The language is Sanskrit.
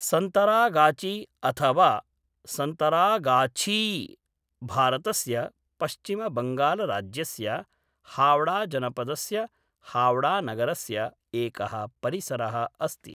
सन्तरागाची, अथ वा सन्तरागाछी, भारतस्य पश्चिमबङ्गालराज्यस्य हाव्ड़ाजनपदस्य हाव्ड़ानगरस्य एकः परिसरः अस्ति।